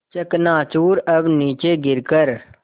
चकनाचूर अब नीचे गिर कर